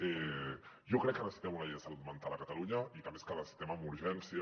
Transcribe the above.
jo crec que necessitem una llei de salut mental a catalunya i que a més la necessitem amb urgència